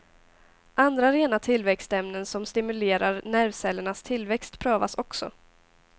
Andra rena tillväxtämnen som stimulerar nervcellernas tillväxt prövas också.